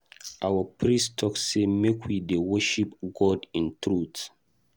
Our priest talk say make we dey worship God in truth.